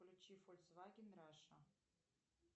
включи фольксваген раша